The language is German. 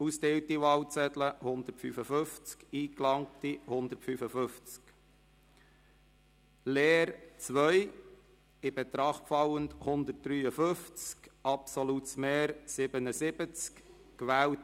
Bei 155 ausgeteilten und 155 eingegangenen Wahlzetteln, wovon leer 2 und ungültig 0, in Betracht fallend 153, wird bei einem absoluten Mehr von 77 gewählt: